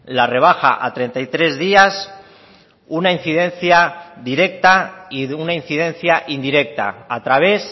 la rebaja a treinta y tres días una incidencia directa y de una incidencia indirecta a través